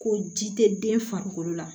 Ko ji tɛ den farikolo la